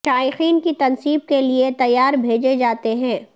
شائقین کی تنصیب کے لیے تیار بھیجے جاتے ہیں